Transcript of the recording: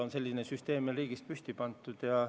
Aga selline süsteem meie riigis püsti on pandud.